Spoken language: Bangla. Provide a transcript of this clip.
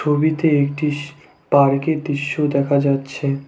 ছবিতে একটি শি পার্কের দৃশ্য দেখা যাচ্ছে।